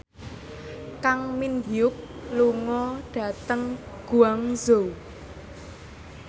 Kang Min Hyuk lunga dhateng Guangzhou